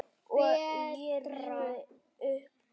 Ég rifjaði upp gamla tíma.